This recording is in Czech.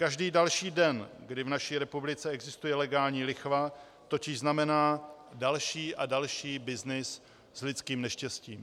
Každý další den, kdy v naší republice existuje legální lichva, totiž znamená další a další byznys s lidským neštěstím.